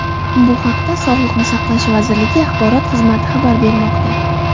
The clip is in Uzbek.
Bu haqda sog‘liqni saqlash vazirligi axborot xizmati xabar bermoqda .